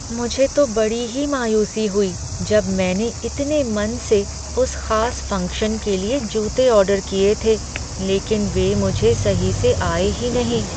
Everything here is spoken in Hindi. मुझे तो बड़ी ही मायूसी हुई जब मैंने इतने मन से उस खास फंक्शन के लिए जूते ऑर्डर किए थे, लेकिन वे मुझे सही से आए ही नहीं।